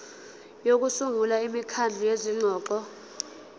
sokusungula imikhandlu yezingxoxo